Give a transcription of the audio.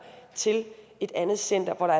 til et andet center hvor der